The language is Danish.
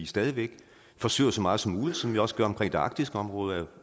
stadig væk forsøger så meget som muligt som vi også gør omkring det arktiske område